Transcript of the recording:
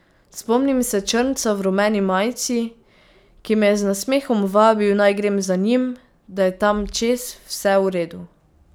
Spomnim se črnca v rumeni majici, ki me je z nasmehom vabil, naj grem za njim, da je tam čez vse v redu.